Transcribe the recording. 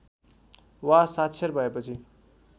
वा साक्षर भएपछि